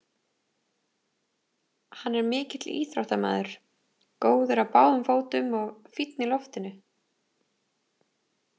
Hann er mikill íþróttamaður, góður á báðum fótum og fínn í loftinu.